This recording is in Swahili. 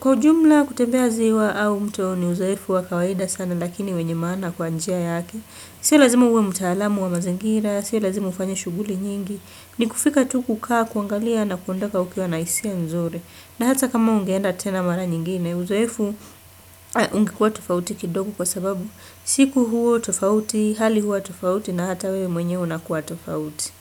Kwa ujumla kutembea ziwa au mto ni uzoefu wa kawaida sana lakini wenye maana kwa njia yake si lazima uwe mtaalamu wa mazingira, si lazima ufanye shughuli nyingi ni kufika tu kukaa kuangalia na kuondoka ukiwa na hisia nzuri na hata kama ungeenda tena mara nyingine uzoefu unga huwa tofauti kidogo kwa sababu siku huwa tofauti, hali huwa tofauti na hata wewe mwenyewe unakuwa tofauti.